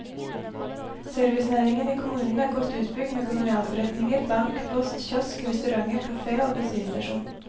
Servicenæringen i kommunen er godt utbygd med kolonialforretninger, bank, post, kiosk, restauranter, kafé og bensinstasjon.